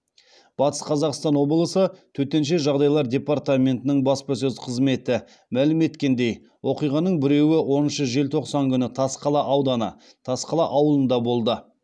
батыс қазақстан облысы төтенше жағдайлар департаментінің баспасөз қызметі мәлім еткендей оқиғаның біреуі оныншы желтоқсан күні тасқала ауданы тасқала ауылында болды